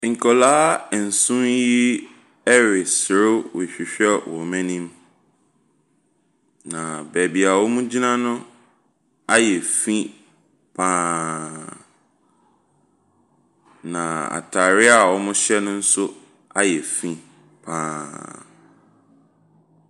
Nkwaraa nson yi reserew rehwehwɛ wɔn anim. Na baabi a wogyina no ayɛ fi pa ara. Na ataare a wɔhyɛ no nso ayɛ fi pa ara.